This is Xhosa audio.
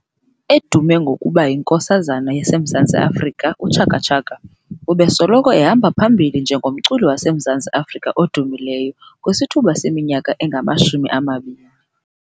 Edume ngokuba y"inkosazana yaseMzantsi Afrika", uChaka Chaka ubesoloko ehamba phambili njengomculi waseMzantsi Afrika odumileyo kwisithuba seminyaka engama shumi anambili 20 years.